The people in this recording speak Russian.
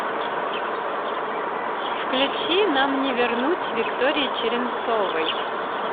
включи нам не вернуть виктории черенцовой